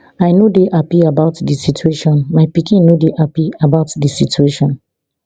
i no dey happy about di situation my pikin no dey happpy about di situation